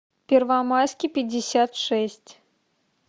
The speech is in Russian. первомайский пятьдесят шесть